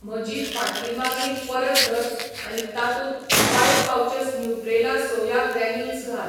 म्हजी फाटली मागणी परत धर आनी तातूंत फायव्ह पावचस न्यूट्रेला सोया ग्रॅन्युल्स घाल